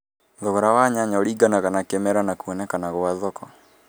Thogora wa nyanya uringanaga na kĩ mera na kuonekana gwa thoko.